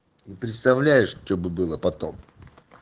представляешь что бы было потом